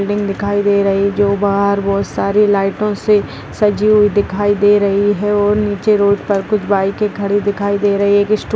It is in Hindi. बिल्डिंग दिखाई दे रही है जो बाहर बहुत सारे लाइटों से सजी हुई दिखाई दे रही है और नीचे रोड पर कुछ बाइकें खड़ी दिखाई दे रही हैं एक स्टोर --